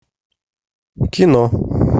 кино